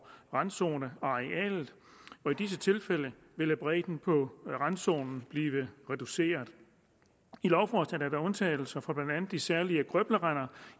randzonearealet i disse tilfælde vil bredden på randzonen blive reduceret i lovforslaget er der undtagelser fra blandt andet de særlige grøblerender